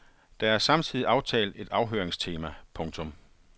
Der er samtidig aftalt et afhøringstema. punktum